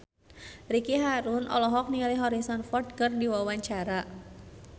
Ricky Harun olohok ningali Harrison Ford keur diwawancara